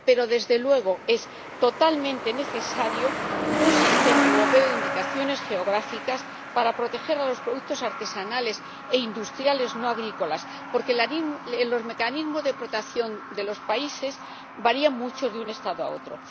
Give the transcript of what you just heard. Pero, desde luego, es totalmente necesario un sistema europeo de indicaciones geográficas para proteger los productos artesanales e industriales no agrícolas, porque los mecanismos de protección de los países varían mucho de un Estado a otro.